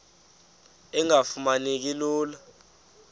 engafuma neki lula